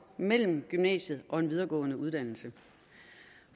mellem gymnasiet og en videregående uddannelse